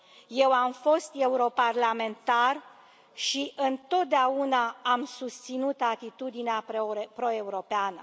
Eu am fost europarlamentar și întotdeauna am susținut atitudinea pro europeană.